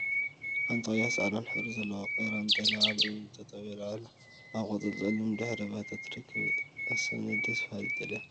ሓንቲ ቀያሕን ፃዕዳን ሕብሪ ዘለዋ ቀራን ጤል አብ እምኒ ጠጠው ኢላ አብ ቆፃልን ፀሊምን ድሕረ ባይታ ትርከብ፡፡ አሰኒ! ደስ በሃሊት ጤል እያ፡፡